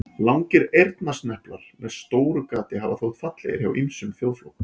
Langir eyrnasneplar með stóru gati hafa þótt fallegir hjá ýmsum þjóðflokkum.